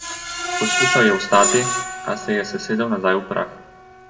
Poskušal je vstati, a se je sesedel nazaj v prah.